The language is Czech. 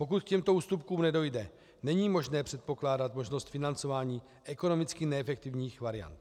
Pokud k těmto ústupkům nedojde, není možné předpokládat možnost financování ekonomicky neefektivních variant.